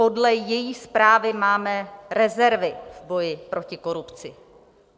Podle její zprávy máme rezervy v boji proti korupci.